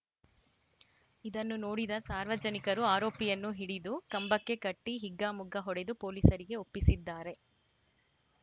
ಇದನ್ನು ನೋಡಿದ ಸಾರ್ವಜನಿಕರು ಆರೋಪಿಯನ್ನು ಹಿಡಿದು ಕಂಬಕ್ಕೆ ಕಟ್ಟಿಹಿಗ್ಗಾಮುಗ್ಗಾ ಹೊಡೆದು ಪೊಲೀಸರಿಗೆ ಒಪ್ಪಿಸಿದ್ದಾರೆ